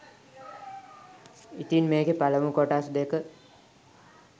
ඉතින් මේකෙ පළමු කොටස් දෙක